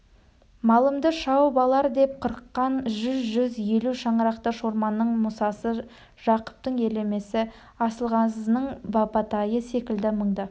малымды шауып алар деп қорыққан жүз-жүз елу шаңырақты шорманның мұсасы жақыптың елемесі асылғазының бабатайы секілді мыңды